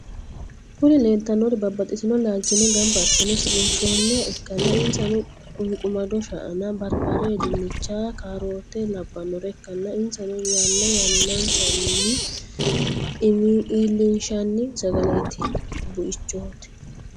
Kuri lelitanorri babatitino lalichinni ganbba assine siqqinishshoniha ikana inasano; quniqqumado shaana, baribarre, dinichana carroteo labanore ikana inasano yanna yanninsanni ilinishani sagalete buichoti.